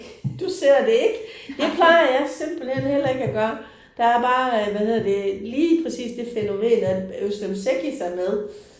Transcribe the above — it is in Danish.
Du ser det ikke? Det plejer jeg simpelthen heller ikke at gøre, der er bare øh hvad hedder det lige præcis det fænomen at Özlem Cekic er med